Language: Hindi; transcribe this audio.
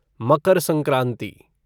मकर संक्रांति